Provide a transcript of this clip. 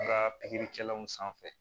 Ka pikiri kɛlaw sanfɛ